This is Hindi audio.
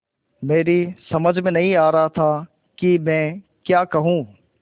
मेरी समझ में नहीं आ रहा था कि मैं क्या कहूँ